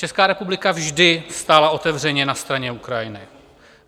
Česká republika vždy stála otevřeně na straně Ukrajiny.